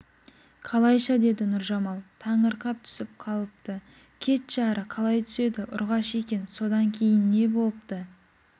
қалайша деді нұржамал таңырқап түсіп қалыпты кетші ары қалай түседі ұрғашы екен содан кейін не бопты